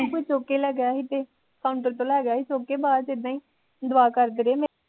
ਕੋਈ ਚੁੱਕ ਕੇ ਲੈ ਗਿਆ ਸੀ ਤੇ counter ਤੋਂ ਲੈ ਗਿਆ ਸੀ ਚੁੱਕ ਕੇ ਬਾਦ ਚ ਇਦਾਂ ਈ ਦੁਆ ਕਰਦੀ ਰਹੀ ਮੈਂ